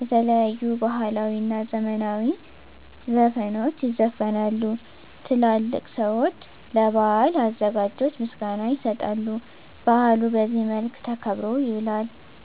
የተለያዩ ባህላዊ እና ዘመናዊ ዘፈኖች ይዘፈናሉ፤ ትላልቅ ሰዊች ለበዓሉ አዘጋጆች ምስጋና ይሰጣሉ፤ በአሉ በዚህ መልክ ተከብሮ ይውላል።